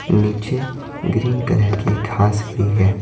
नीचे green colour की घास भी है।